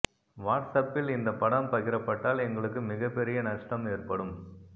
watts அப்பில் இந்த படம் பகிரப்பட்டால் எங்களுக்கு மிகப்பெரிய நஷ்டம் ஏற்படும்